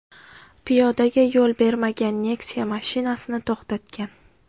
piyodaga yo‘l bermagan Nexia mashinasini to‘xtatgan.